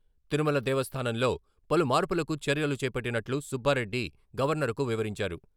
తిరుమల దేవస్థానంలో పలు మార్పులకు చర్యలు చేపట్టినట్లు సుబ్బారెడ్డి గవర్నర్కు వివరించారు.